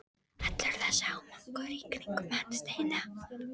Allur þessi hamagangur í kringum hann Steina!